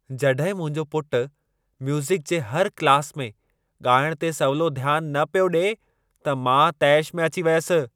जॾहिं मुंहिंजो पुट म्यूज़िक जे हर क्लास में ॻाइण ते सवलो ध्यान न पियो ॾिए, त मां तैश में अची वयसि।